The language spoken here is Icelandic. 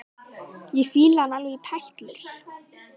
Ég fíla hann alveg í tætlur!